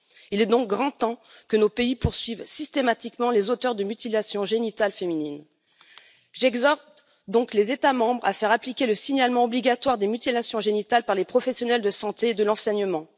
Il est donc grand temps que nos pays poursuivent systématiquement les auteurs de mutilations génitales féminines. J'exhorte donc les États membres à faire appliquer le signalement obligatoire des mutilations génitales par les professionnels de santé et de l'enseignement.